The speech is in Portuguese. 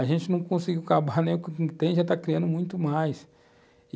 A gente não conseguiu acabar nem com o que já tem e já está criando muito mais.